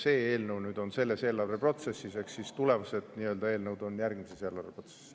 See eelnõu on selles eelarveprotsessis, tulevased eelnõud on järgmistes eelarvetes.